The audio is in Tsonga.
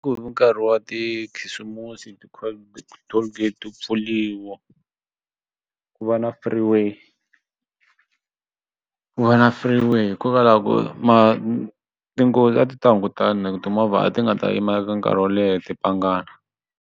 Ku ri nkarhi wa tikhisimusi ti-cold tollgate ti pfuriwa ku va na free way ku va na free way hikokwalaho ku ma tinghozi a ti ta hungutana timovha a ti nga ta yima eka nkarhi wo leha .